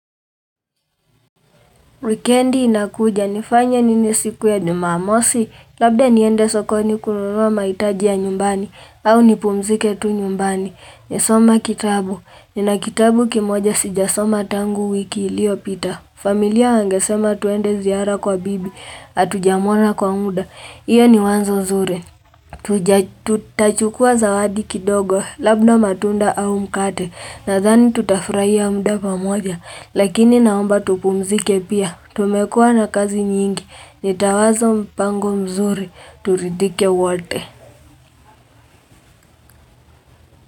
Wikendi inakuja nifanya nini siku ya jumamosi, labda niende sokoni kununua mahitajia ya nyumbani, au nipumzike tu nyumbani. Nisome kitabu, nina kitabu kimoja sijasoma tangu wiki iliyopita. Familia wangesema tuende ziara kwa bibi, hatujamona kwa mda, iyo ni wazo nzuri. Tuja tutachukua zawadi kidogo, labda matunda au mkate, nadhani tutafurahia mda pamoja, Lakini naomba tupumzike pia, tumekua na kazi nyingi, nitawazo mpango mzuri, turidhike wote.